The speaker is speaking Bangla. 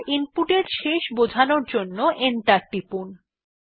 এবার ইনপুটের শেষ বোঝানোর জন্য এন্টার টিপুন